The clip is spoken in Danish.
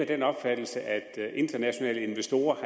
den opfattelse at at internationale investorer